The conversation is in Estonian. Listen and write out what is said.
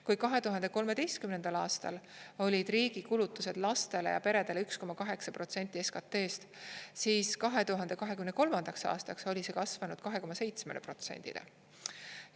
Kui 2013. aastal olid riigi kulutused lastele ja peredele 1,8% SKT-st, siis 2023. aastaks oli see kasvanud 2,7%-le.